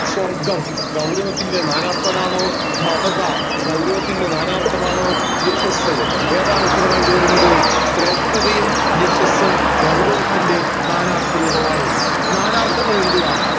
സ്വർഗം ഗൗരവത്തിന്റെ നാനാർത്ഥമാണോ മമത ഗൗരവത്തിന്റെ നാനാർത്ഥമാണോ യശ്ശസ്സ് ഏതാണ് ഉത്തരമായിട് വരുന്നത് ശ്രേഷ്ഠതയും യശ്ശസ്സ് ഉം ഗൗരവത്തിൻറെ നാനാർത്ഥ രൂപമാണ് നാനാർത്ഥങ്ങൾ എഴുതുക